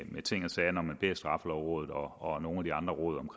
med ting og sager når man beder straffelovrådet og nogle af de andre råd om